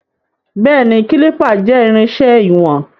Béèní, Kálìpà jẹ́ irinṣẹ́ ìwọ̀n.